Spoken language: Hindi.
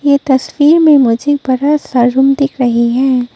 ये तस्वीर में मुझे बड़ा सा रूम दिख रही है।